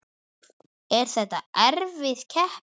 Er þetta erfið keppni?